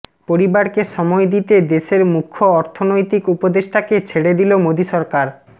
পরিবারকে সময় দিতে দেশের মুখ্য অর্থনৈতিক উপদেষ্টাকে ছেড়ে দিল মোদী সরকার